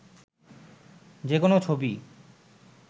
যে কোনো ছবিই